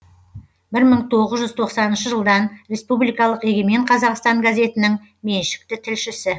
бір мың тоғыз жүз тоқсаныншы жылдан республикалық егемен қазақстан газетінің меншікті тілшісі